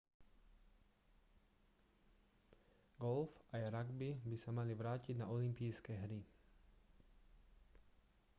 golf aj ragby by sa mali vrátiť na olympijské hry